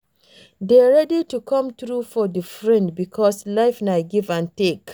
Dey ready to come through for di friend because life na give and take